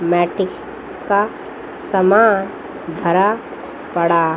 matric का समान भरा पड़ा--